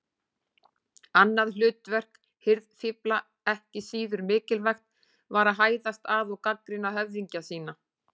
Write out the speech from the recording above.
Annað hlutverk hirðfífla, ekki síður mikilvægt, var að hæðast að og gagnrýna höfðingja sína.